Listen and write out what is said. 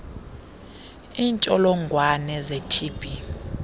iintsholongwane ze tb